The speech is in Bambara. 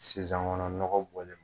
Sisan kɔnni nɔgɔ bɔlen.